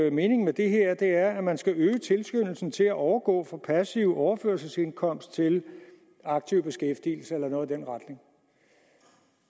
at meningen med det her er at man skal øge tilskyndelsen til at overgå fra passiv overførselsindkomst til aktiv beskæftigelse eller noget i den retning